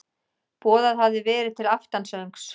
Boðað hafði verið til aftansöngs.